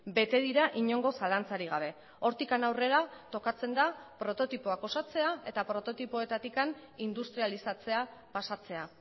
bete dira inongo zalantzarik gabe hortik aurrera tokatzen da prototipoak osatzea eta prototipoetatik industrializatzea pasatzea